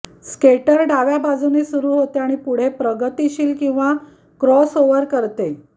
skater डाव्या बाजूने सुरु होते आणि पुढे प्रगतिशील किंवा क्रॉसओवर करते